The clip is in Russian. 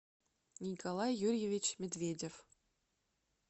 николай юрьевич медведев